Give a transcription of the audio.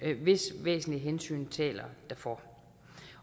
hvis væsentlige hensyn taler derfor